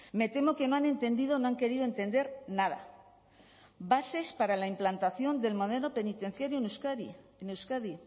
me temo que no han entendido o no han querido entender nada bases para la implantación del modelo penitenciario en euskadi en euskadi